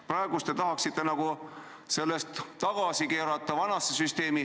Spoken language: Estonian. Praegu te tahaksite nagu vanasse süsteemi tagasi pöörduda.